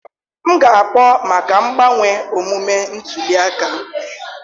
M ga-akpọ maka mgbanwe omume ntuli aka